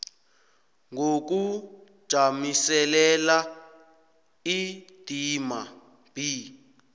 ngokujamiselela indima b